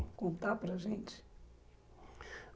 contar para a gente?